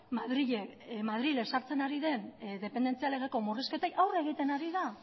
madril ezartzen ari den dependentzia legeko murrizketek aurre egiten ari da